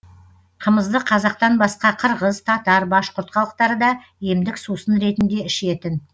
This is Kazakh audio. қымызды қазақтан басқа қырғыз татар башқұрт халықтары да емдік сусын ретінде ішетін